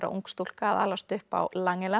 ung stúlka að alast upp á